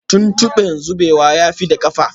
Tuntube zubewa ya tafi da kafa